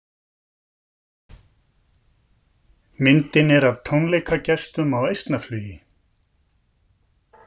Myndin er af tónleikagestum á Eistnaflugi.